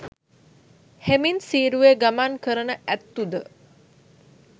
හෙමින් සීරුවේ ගමන් කරන ඇත්තු ද